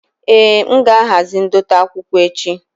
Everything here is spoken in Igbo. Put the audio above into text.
Èé, m ga-ahazi ndote akwụkwọ echi.